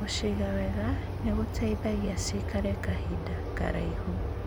Gũciga wega nĩgũteithagio cikare kahinda karaihu.